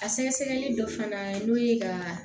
A sɛgɛsɛgɛli dɔ fana n'o ye ka